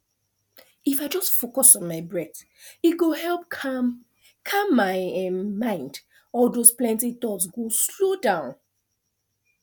if i just focus on my breath e go help calm calm my um mind all those plenty thoughts go slow down